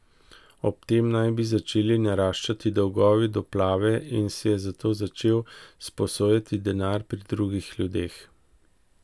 Ob tem naj bi začeli naraščati dolgovi do Plave in si je zato začel sposojati denar pri drugih ljudeh.